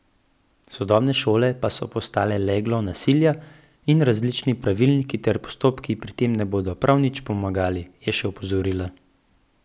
Sodobne šole pa so postale leglo nasilja in različni pravilniki ter postopki pri tem ne bodo prav nič pomagali, je še opozorila.